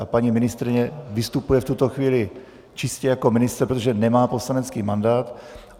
A paní ministryně vystupuje v tuto chvíli čistě jako ministr, protože nemá poslanecký mandát.